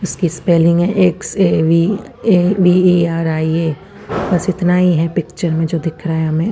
इसकी स्पेल्लिंग है एक्स_ए_वि_ए_वि_ई_आर_आई_ए बस इतने है पिच्चर में जो दिख रहा है हमे--